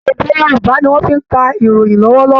Èdè Yorùbá ni wọn fi ń ka ìròyìn lọ́wọ́lọ́wọ́